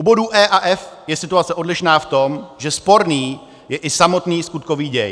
U bodů E a F je situace odlišná v tom, že sporný je i samotný skutkový děj.